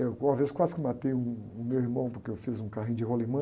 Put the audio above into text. Eu, uma vez quase que matei um, o meu irmão porque eu fiz um carrinho de rolimã.